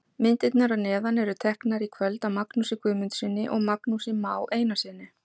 Myndirnar að neðan eru teknar í kvöld af Magnúsi Guðmundssyni og Magnúsi Má Einarssyni.